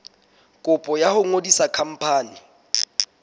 kopo ya ho ngodisa khampani